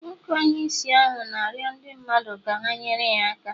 Nwoke onye ìsì ahụ na-arịọ ndị mmadụ ka ha nyere ya aka